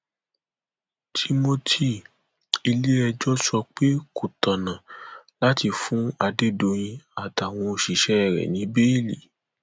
timothy iléẹjọ sọ pé kò tọnà láti fún adédọyìn àtàwọn òṣìṣẹ rẹ ní bẹẹlí